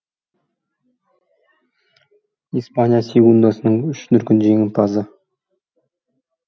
испания сегундасының үш дүркін жеңімпазы